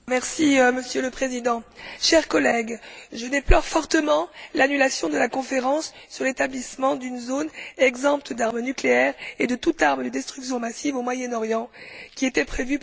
Monsieur le Président, chers collègues, je déplore fortement l'annulation de la conférence sur l'établissement d'une zone exempte d'armes nucléaires et de toute arme de destruction massive au Moyen Orient, qui était prévue pour